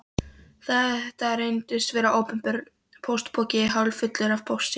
Þetta reyndist vera opinber póstpoki hálffullur af pósti.